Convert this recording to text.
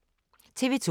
TV 2